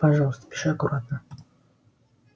пожалуйста пиши аккуратно